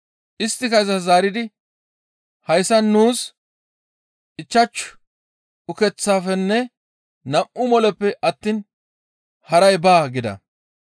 Isttika izas zaaridi, «Hayssan nuus ichchashu ukeththafenne nam7u moleppe attiin haray baa» gida.